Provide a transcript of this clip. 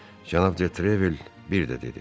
Cənab Detrevel bir də dedi.